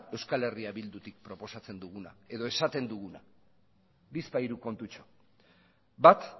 eh bildutik proposatzen duguna edo esaten duguna bizpahiru kontutxo bat